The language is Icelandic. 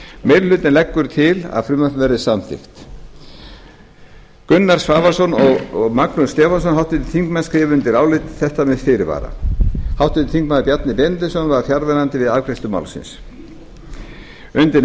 meiri hlutinn leggur til að frumvarpið verði samþykkt háttvirtir þingmenn gunnar svavarsson og magnús stefánsson skrifa undir álit þetta með fyrirvara háttvirtur þingmaður bjarni benediktsson var fjarverandi við afgreiðslu málsins undir